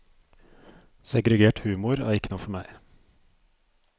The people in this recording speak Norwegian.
Segregert humor er ikke noe for meg.